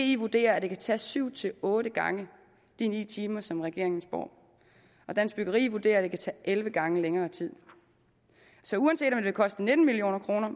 di vurderer at det kan tage syv otte gange de ni timer som regeringen spår og dansk byggeri vurderer at det kan tage elleve gange længere tid så uanset om det vil koste nitten million kroner